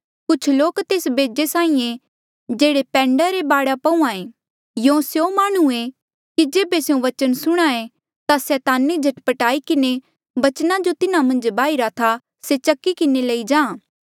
कुछ लोक तेस बेजे साहीं ऐें जेह्ड़े पैंडे रे बाढे पहूंआं ऐें यूं स्यों माह्णुं ऐें कि जेबे स्यों बचन सुणहां ऐें ता सैताने झट पट आई किन्हें बचना जो तिन्हा मन्झ बाहिरा था से चकी किन्हें लई जाहाँ